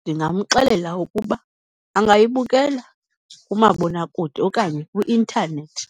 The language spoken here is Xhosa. Ndingamxelela ukuba angayibukela kumabonakude okanye kwi-intanethi.